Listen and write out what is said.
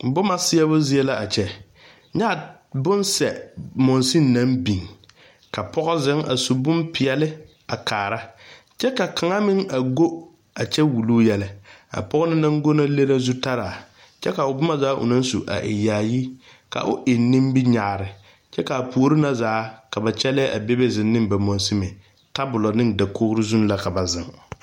Boma seɛbo zie la a kyɛ nyɛ bonsɛ mansin naŋ biŋ ka pɔge zeŋ a su bompeɛle a kaara kyɛ ka kaŋa meŋ go a kyɛ a wuluu yɛlɛ a pɔge na go le la zutara kyɛ ka o boma zaa o naŋ su a e yaayi ka o eŋ nominyaare kyɛ ka a puori na zaa ka kyɛllɛɛ bebe zeŋ ne ba mansimi ne tabolo ne dakogri zuŋ la ka ba zeŋ.